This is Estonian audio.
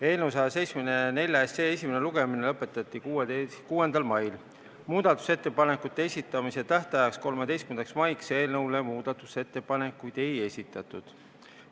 Eelnõu 174 esimene lugemine lõpetati 6. mail, muudatusettepanekute esitamise tähtajaks, 13. maiks muudatusettepanekuid ei esitatud.